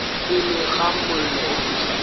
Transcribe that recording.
pele ga mollo o fišago